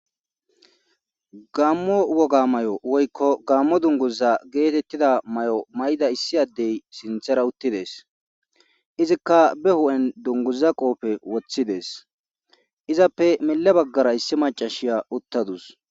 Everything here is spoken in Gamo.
gammo woga may7o woykko gammo dunguza geetettida may7o may7da issi addey sinthera uttides izikka be hu7en dunguza qooppe woththides izappe mille baggara issi macashiya uttadus